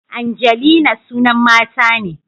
Angelina sunan mata ne